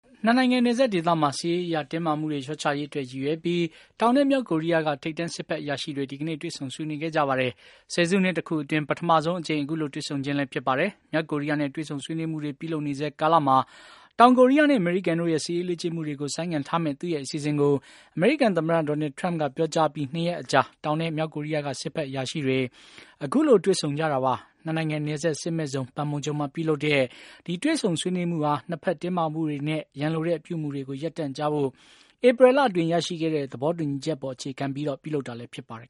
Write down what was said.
နှစ်နိုင်ငံ နယ်စပ်ဒေသမှာ စစ်ရေးအရ တင်းမာမှုတွေ လျော့ချရေးအတွက် ရည်ရွယ်ပြီး တောင်နဲ့ မြောက်ကိုရီးယားက ထိပ်တန်း စစ်ဘက်အရာရှိတွေ ဒီကနေ့ တွေ့ဆုံ ဆွေးနွေးခဲ့ကြပါတယ်။ ဆယ်စုနှစ်တခုအတွင်း ပထမဆုံးအကြိမ် အခုလို တွေ့ဆုံခြင်းလဲ ဖြစ်ပါတယ်။ မြောက်ကိုရီးယားနဲ့ တွေ့ဆုံ ဆွေးနွေးမှုတွေ ပြုလုပ်နေဆဲကာလမှာ တောင်ကိုရီးယားနဲ့ အမေရိကန်တို့ရဲ့ စစ်ရေးလေ့ကျင့်မှုတွေကို ဆိုင်းငံ့ထားမယ့် သူ့ရဲ့ အစီအစဉ်ကို အမေရိကန်သမ္မတ Donald Trump က ပြောကြားအပြီး ၂ ရက်အကြာ တောင်နဲ့ မြောက်ကိုရီးယားက စစ်ဘက် အရာရှိတွေ အခုလို တွေ့ဆုံကြတာပါ။ နှစ်နိုင်ငံနယ်စပ် စစ်မဲ့ဇုံ Panmunjom မှာ ပြုလုပ်တဲ့ ဒီ တွေ့ဆုံ ဆွေးနွေးမှုဟာ နှစ်ဘက် တင်းမာမှုတွေနဲ့ ရန်လိုတဲ့ အပြုအမူတွေ ရပ်တန့်ကြဖို့ ဧပြီလအတွင်း ရရှိခဲ့တဲ့ သဘောတူညီချက်အပေါ် အခြေခံပြီး ပြုလုပ်တာလည်း ဖြစ်ပါတယ်